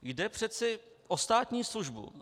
Jde přece o státní službu.